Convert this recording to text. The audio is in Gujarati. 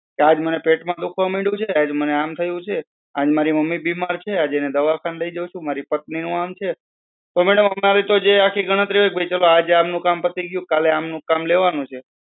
કે આજ મને પેટ માં દુખવા મન્ડ્યુ છે. આજે મને આમ થયું છે. આજે મારી મમ્મી બીમાર છે તેને દવાખાને લઇ જવું છું. મારી પત્ની નું આમ છે તો madam અમારી તો જે આખી ગણતરી હોય કે ચાલો ભાઈ આજે આમ નું કામ પતિ ગયું. કાલે આમ નું કામ લેવાનું છે.